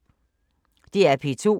DR P2